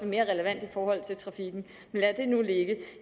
mere relevant i forhold til trafikken men lad det nu ligge